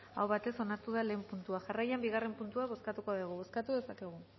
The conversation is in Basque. aho batez onartu da lehen puntua jarraian bigarren puntua bozkatuko dugu bozkatu dezakegu